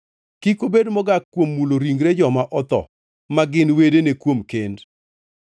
Kik obed mogak kuom mulo ringre joma otho ma gin wedene kuom kend.